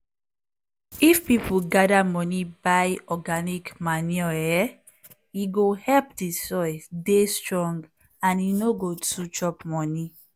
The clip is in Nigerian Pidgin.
if people gather money buy organic manure eeh e go help di soil dey strong and e no go too chop money.